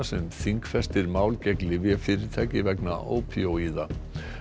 sem þingfestir mál gegn lyfjafyrirtæki vegna ópíóíða